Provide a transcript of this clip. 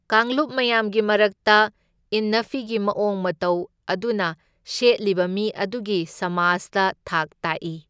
ꯀꯥꯡꯂꯨꯞ ꯃꯌꯥꯝꯒꯤ ꯃꯔꯛꯇ ꯏꯟꯅ ꯐꯤꯒꯤ ꯃꯑꯣꯡ ꯃꯇꯧ ꯑꯗꯨꯅ ꯁꯦꯠꯂꯤꯕ ꯃꯤ ꯑꯗꯨꯒꯤ ꯁꯃꯥꯖꯇ ꯊꯥꯛ ꯇꯥꯛꯏ꯫